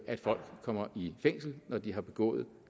at folk kommer i fængsel når de har begået